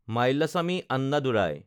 Mylswamy Annadurai